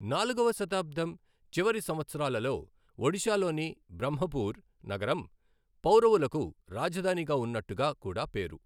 నాలుగవ శతాబ్దం చివరి సంవత్సరాలలో ఒడిశాలోని బ్రహ్మపూర్ నగరం పౌరవులకు రాజధానిగా ఉన్నట్టుగా కూడ పేరు.